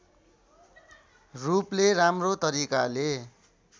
रूपले राम्रो तरिकाले